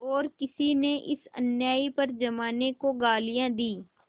और किसी ने इस अन्याय पर जमाने को गालियाँ दीं